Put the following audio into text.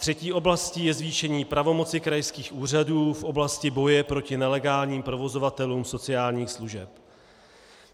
Třetí oblastí je zvýšení pravomoci krajských úřadů v oblasti boje proti nelegálním provozovatelům sociálních služeb.